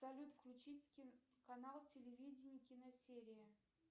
салют включить канал телевидение киносерия